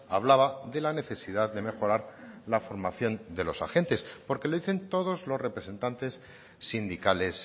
hablaba de la necesidad de mejorar la formación de los agentes porque lo dicen todos los representantes sindicales